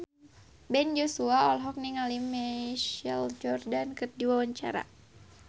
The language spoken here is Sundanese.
Ben Joshua olohok ningali Michael Jordan keur diwawancara